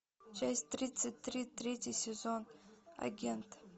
часть тридцать три третий сезон агент